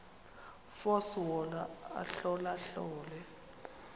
force wona ahlolahlole